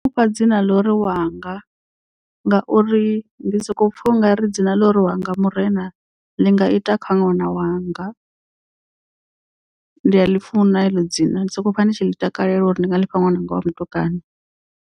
Mufha dzina ḽa uri wanga ngauri ndi soko pfha u nga ri dzina ḽa uri wanga murena ḽi nga ita kha ṅwana wanga ndi a ḽi funa heḽo dzina ndi soko pfa nditshi ḽi takalela uri ndi nga lifha ṅwananga wa mutukana.